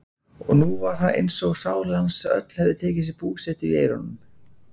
Og nú var eins og sál hans öll hefði tekið sér búsetu í eyrunum.